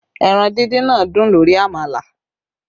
Ẹran díndín náà dùn lórí àmàlà